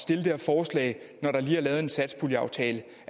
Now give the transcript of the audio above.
det her forslag når der lige er lavet en satspuljeaftale